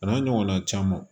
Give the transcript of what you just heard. A n'a ɲɔgɔnna caman